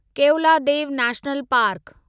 Keoladeo national park